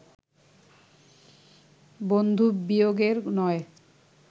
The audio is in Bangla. বন্ধুবিয়োগের নয়